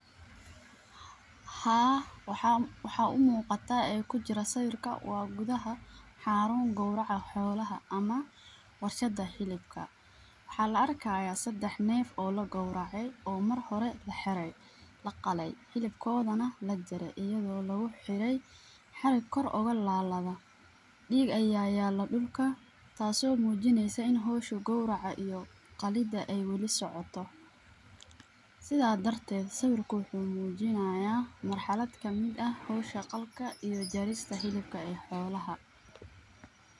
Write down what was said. Haa waxa umuqata ee kujira sawirka gudaxa xarun gowraca xolaaha, ama warshada xilibka, waxa laarkaya sadex neef oo laqowrece oo marhore laxiray, laqalee, xilibkoda nax lajare, ayago laguhiray xariik kor ogalalado, diig aya yala dulka taaso mujineysa in xowshu gowraca iyo qalida aya wali socoto, sidha dartet sawirku wuxu mujinaya marxlad kamid ah, xowsha qalka iyo jarista xilibka ee xoolaha.